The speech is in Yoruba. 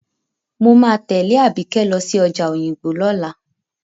Mo máa tẹ̀lé Àbíkẹ́ lọ sí ọjà Òyìngbò lọ́la.